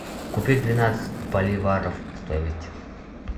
купить двенадцать боливаров стоимость